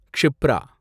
Kshipra